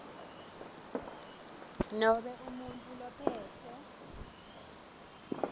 nobe umuntfu lophetse